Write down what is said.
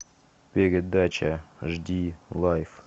передача жди лайф